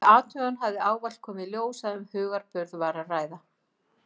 Við athugun hafði ávallt komið í ljós að um hugarburð var að ræða.